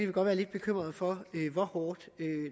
vi godt være lidt bekymrede for hvor hårdt